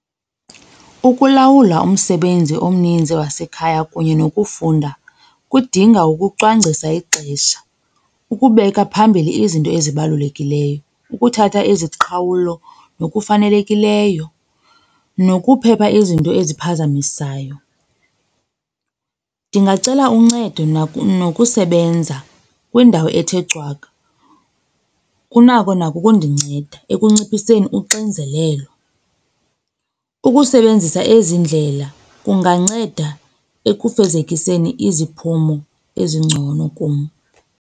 Ukulawula umsebenzi omninzi wasekhaya kunye nokufunda kudinga ukucwangcisa ixesha, ukubeka phambili izinto ezibalulekileyo, ukuthatha iziqhawulo nokufanelekileyo nokuphepha izinto eziphazamisayo. Ndingacela uncedo nokusebenza kwindawo ethe cwaka, kunako nako ukundinceda ekunciphiseni uxinzelelo. Ukusebenzisa ezi ndlela kunganceda ekufezekiseni iziphumo ezingcono kum.